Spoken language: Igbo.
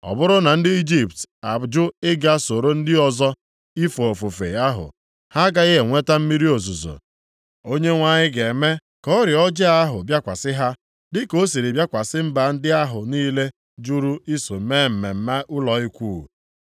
Ọ bụrụ na ndị Ijipt ajụ ịga soro ndị ọzọ ife ofufe ahụ, ha agaghị enweta mmiri ozuzo. Onyenwe anyị ga-eme ka ọrịa ọjọọ ahụ bịakwasị ha, dịka ọ siri bịakwasị mba ndị ahụ niile jụrụ iso mee mmemme ụlọ Ikwu.